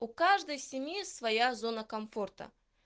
у каждой семьи своя зона комфорта